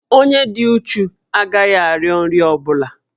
Onye dị uchu agaghị arịọ nri ọ bụla